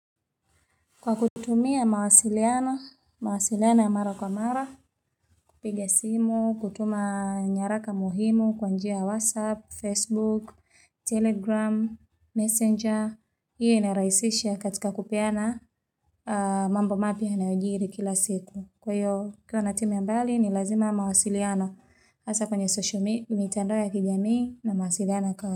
Kwa kutumia mawasiliano. Mawasiliano mara kwa mara, kupiga simu, kutuma nyaraka muhimu kwanjia whatsapp, facebook, telegram, messenger, iyo inaraisisha katika kupeana mambo mapya yanayojiri kila siku. Kwa hiyo, ukiwa na timu ya mbali, ni lazima mawasiliano hasa kwenye sosho mi, mitando ya kijamii na mawasiliano.